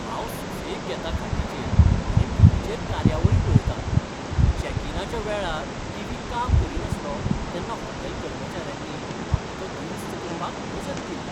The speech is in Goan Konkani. हांव सुसेग घेतां खाटीचेर आनी टिवीचेर कार्यावळी पळयतां. चेक इनाच्या वेळार टिवी काम करीनासलो तेन्ना हॉटेल कर्मचाऱ्यांनी म्हाका तो दुरुस्त करपाक मजत केल्ली.